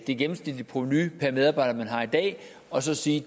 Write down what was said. det gennemsnitlige provenu per medarbejder man har i dag er og så sige